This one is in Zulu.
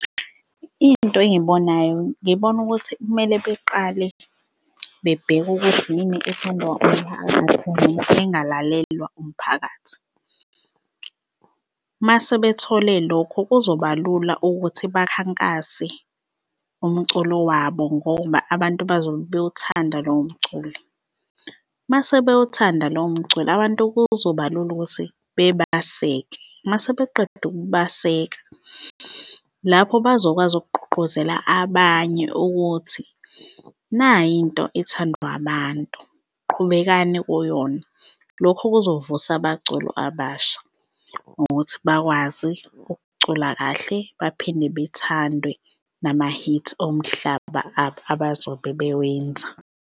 Into engiyibonayo, ngibona ukuthi kumele beqale bebheke ukuthi yini ethandwa umphakathi noma engalalelwa umphakathi. Mase bethole lokho kuzoba lula ukuthi bakhankase umculo wabo ngoba abantu bazobe bewuthanda lowo mculo. Mase bewuthanda lowo mcul, abantu kuzoba lula ukuthi bebaseke, mase beqedile ukubaseka, lapho bazokwazi ukugqugquzela abanye ukuthi nayi into ethandwa abantu, qhubekani kuyona. Lokho kuzovusa abaculi abasha ukuthi bakwazi ukucula kahle baphinde bethandwe nama-hits omhlaba abazobe bewenza.